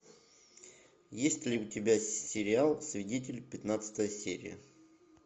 есть ли у тебя сериал свидетель пятнадцатая серия